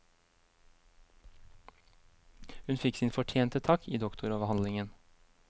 Hun fikk sin fortjente takk i doktoravhandlingen.